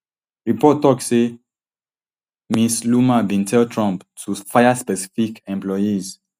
reports tok say ms loomer bin tell trump to fire specific employees